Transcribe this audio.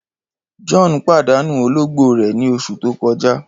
John padanu ologbo rẹ ni oṣu to kọja.